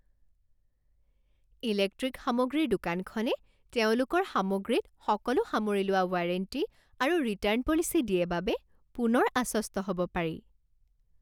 Electric সামগ্ৰীৰ দোকানখনে তেওঁলোকৰ সামগ্ৰীত সকলো সামৰি লোৱা ৱাৰেণ্টি আৰু ৰিটাৰ্ণ পলিচী দিয়ে বাবে পুনৰ আশ্বস্ত হ'ব পাৰি।